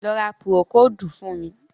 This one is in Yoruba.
Lọ ra Púrókódù fún mi!